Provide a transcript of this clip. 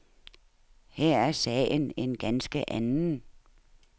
Her er sagen en ganske anden.